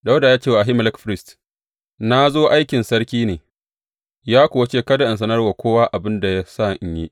Dawuda ya ce wa Ahimelek firist, Na zo aikin sarki ne, ya kuwa ce kada in sanar wa kowa abin da ya sa in yi.